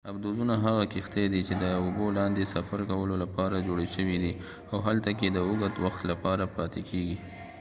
آبدوزونه هغه کښتۍ دي چې د اوبو لاندې سفر کولو لپاره جوړې شوي دي او هلته کې د اوږد وخت لپاره پاتې کیږي